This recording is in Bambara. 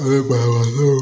An bɛ baro